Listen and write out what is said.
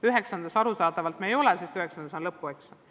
9-ndas me seda arusaadavalt teinud veel ei ole, sest seni on 9-ndas olnud lõpueksamid.